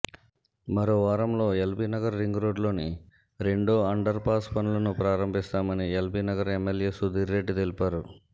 మరో వారంలో ఎల్బీనగర్ రింగ్రోడ్డులోని రెండో అండర్పాస్ పనులను ప్రారంభిస్తామని ఎల్బీనగర్ ఎమ్మెల్యే సుధీర్రెడ్డి తెలిపారు